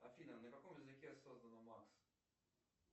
афина на каком языке создана макс